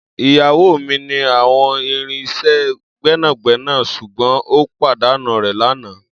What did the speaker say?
Iyawo mi ni awọn irin iṣẹ gbẹnagbẹna ṣugbọn o padanu rẹ lana